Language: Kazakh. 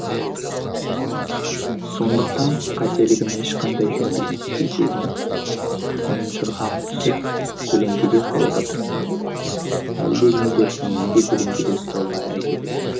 сондықтан қателігім ешқандай жөнделместей сезініп ұнжырғам түсіп көлеңкеде қалуға тырыстым әлдекімдер мені де көлеңкеде ұстауға әрекет етті